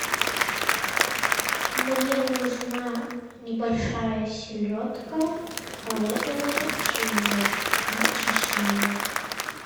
мне нужна небольшая селедка холодного копчения не чищенная